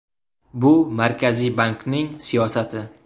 Bu Markaziy bankning siyosati.